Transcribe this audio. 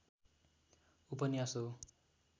उपन्यास हो